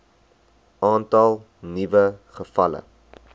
aantal nuwe gevalle